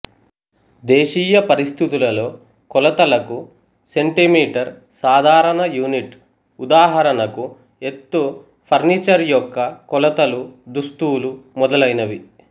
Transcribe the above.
దేశీయ పరిస్థితులలో కొలతలకు సెంటీమీటర్ సాధారణ యూనిట్ ఉదాహరణకు ఎత్తు ఫర్నిచర్ యొక్క కొలతలు దుస్తులు మొదలైనవి